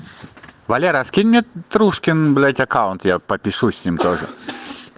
валера а скинь мне трушкин блядь аккаунт я блядь попишусь с ним тоже